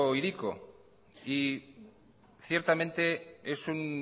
hiriko y ciertamente es un